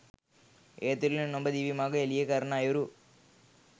ඒ තුළින් ඔබ දිවි මඟ එළිය කරන අයුරු